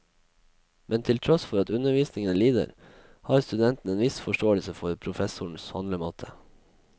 Men til tross for at undervisningen lider, har studentene en viss forståelse for professorens handlemåte.